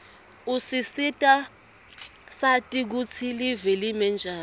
usisita sati kutsi live limenjani